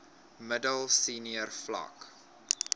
middel senior vlak